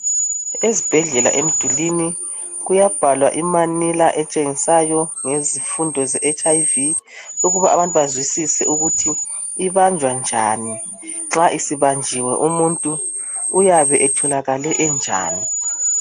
Ezibhedlela emdulwini kuyabhalwa imanilla etshengisayo ngezifundo ze HIV ukuba abantu bazwisise ukuthi ibanjwa njani, nxa isibanjiwe umuntu uyabe etholakale enjani.